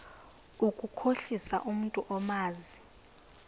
ukukhohlisa umntu omazi